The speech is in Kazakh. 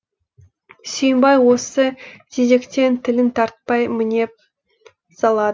сүйімбай осы тезектен тілін тартпай мінеп салад